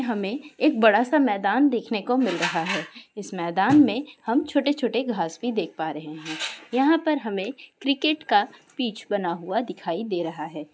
हमे एक बड़ा सा मैदान देखने को मिल रहा है| इस मैदान में हम छोटे छोटे घास भी देख पा रहे है| यहाँ पर हमे क्रिकेट का पिछ बना हुआ दिखाई दे रहा है।